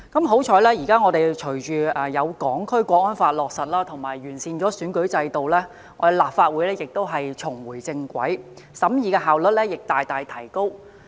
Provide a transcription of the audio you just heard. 幸運地，隨着《香港國安法》落實和完善選舉制度後，我們立法會得以重回正軌，審議工作的效率亦大大提高。